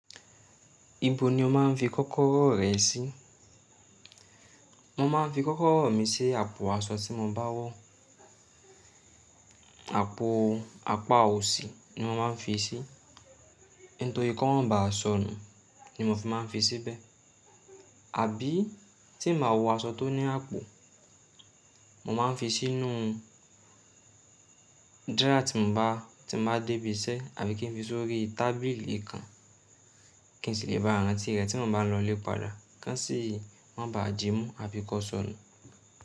Ibo ni o máa ń fi kọ́kọ́rọ́ rẹ sí? Mo máa ń fi kọ́kọ́rọ́ mi sí àpò aṣọ tí mo bá wọ̀. Àpò apá òsì ni mo máa ń fi sí, nítorí kí o ma bá sọnù ni mo fi máa ń fi síbẹ̀. Àbí tí mo máa wọ aṣọ tó ní àpò, mo máa ń fi sínú dára tí mo bá, tí mo bá dé ibi iṣẹ́ àbí kí n fi sórí tábìlì kan kí n sì lè bá ara tí rẹ tí mo bá lọlé padà. Kánsì wọ́n bá jímú àbi kó sọnù.